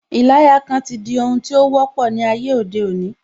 Ìlayakan ti di ohun tí ó wọ́pọ̀ ní ayé òde òní